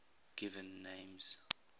given names